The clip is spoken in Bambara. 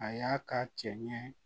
A y'a ka cɛ ɲɛ